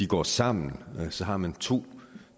går sammen har man to